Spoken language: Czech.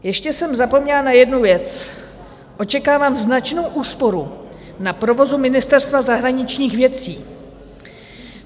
Ještě jsem zapomněla na jednu věc, očekávám značnou úsporu na provozu Ministerstva zahraničních věcí.